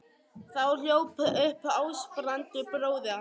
Þá hljóp upp Ásbrandur bróðir hans.